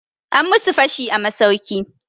An musu fashi a masauki.